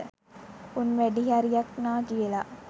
උන් වැඩිහරියක් නාකි වෙලා